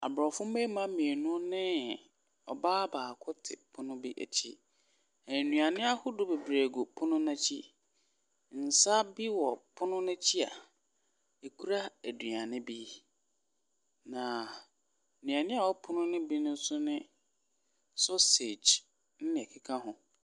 Aborɔfo mmarima mmienu ne ɔbaa baako te pono bi akyi. Nnuane ahodoɔ bebree gu pono no akyi. Nsa bi wɔ pono no akyi a ɔkura aduane bi, na nnuane a ɛwɔ pono no bi nso ne sausage ne nea ɛkeka ho.